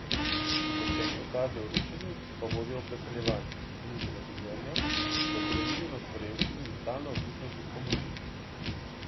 Izvršeni ukazi o rušenju pa vodijo v preseljevanje, uničena življenja, zakoreninjenost v revščini in stalno odvisnost od pomoči.